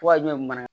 Wa jɛn bana